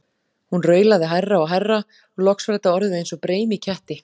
Hún raulaði hærra og hærra og loks var þetta orðið eins og breim í ketti.